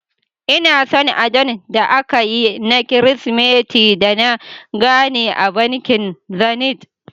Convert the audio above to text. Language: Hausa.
Ina son adon da akayi na kirismeti da na gane a bankin Zenith.